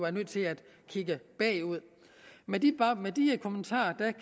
er nødt til at kigge bagud med de kommentarer